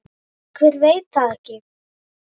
Hver veit það ekki?